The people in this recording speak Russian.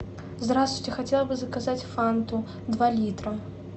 здравствуйте хотела бы заказать фанту два литра